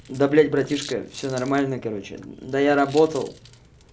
да блядь братишка всё нормально короче да я работал